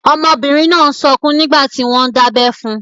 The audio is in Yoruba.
Ọmọbìnrin náà n sọkún nígbàtí wọ́n n dábẹ́ fun.